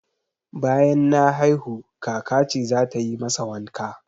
Banyan na haihu, kaka ce zata yi masa wanka